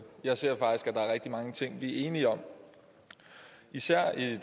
jeg ser faktisk at der er rigtig mange ting vi er enige om især i det